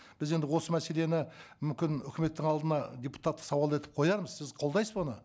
біз енді осы мәселені мүмкін үкіметтің алдына депутаттық сауал етіп қоярмыз сіз қолдайсыз ба оны